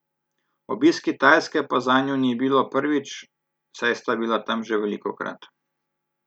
Obisk Kitajske pa zanju ni bilo prvič, saj sta bila tam že velikokrat.